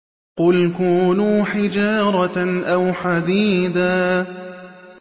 ۞ قُلْ كُونُوا حِجَارَةً أَوْ حَدِيدًا